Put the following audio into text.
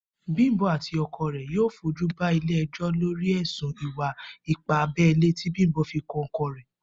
Bímpé àti o̩ko̩ rè̩ yóò fojú ba ilé e̩jó̩ lórí è̩sùn ìwà-ipá abé̩lé tí Bímpé fi kan o̩ko̩ rè̩